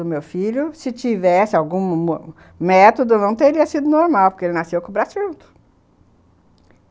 O do meu filho, se tivesse algum método, não teria sido normal, porque ele nasceu com o braço junto.